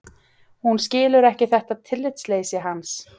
Hún skilur ekki þetta tillitsleysi hans.